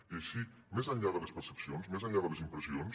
i així més enllà de les percepcions més enllà de les impressions